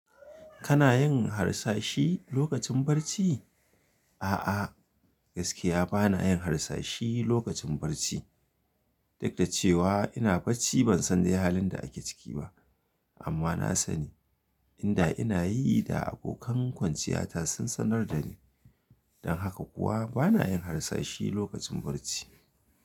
Kana yin harsashi lokacin barci? A'a, gaskiya ba na yin harsashi lokacin barci. Duk da cewa ina barci ban san da halin da ake ciki ba, amma na sani inda ina yi da abokan kwanciyata sun sanar da ni. Don haka kuwa ba na yin harsashi lokacin barci.